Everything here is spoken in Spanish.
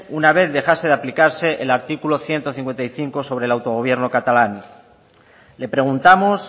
una vez dejase de aplicarse el articulo ciento cincuenta y cinco sobre el autogobierno catalán le preguntamos